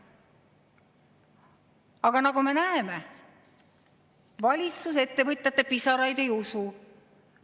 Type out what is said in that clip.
Aga nagu me näeme, valitsus ettevõtjate pisaraid ei usu.